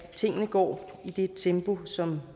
tingene går i det tempo som